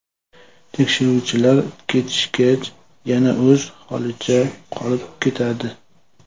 Tekshiruvchilar ketishgach, yana o‘z holicha qolib ketadi.